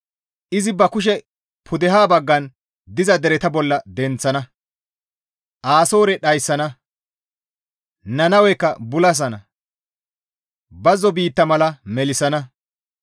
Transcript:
Izi ba kushe pudeha baggan diza dereta bolla denththana; Asoore dhayssana. Nannawekka bulasana; bazzo biitta mala melissana.